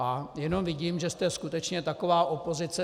A jenom vidím, že jste skutečně taková opozice.